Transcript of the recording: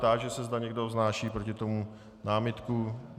Táži se, zda někdo vznáší proti tomu námitku.